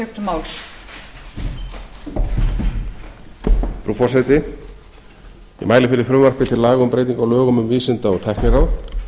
frú forseti ég mæli fyrir frumvarpi til laga um breyting á lögum um vísinda og tækniráð